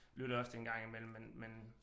Lytter jeg også til en gang imellem men men